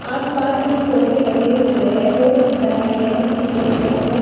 आसपास भी सोफे लगे हुए हैं हो सकता है यह फर्नीचर शॉप हो।